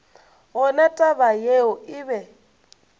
gona taba yeo e be